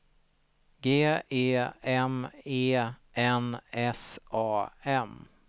G E M E N S A M